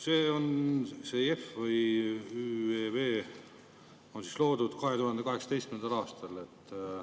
See JEF või ÜEV on loodud 2018. aastal.